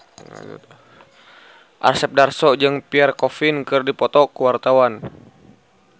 Asep Darso jeung Pierre Coffin keur dipoto ku wartawan